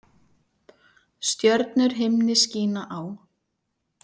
Stjörnur himni skína á.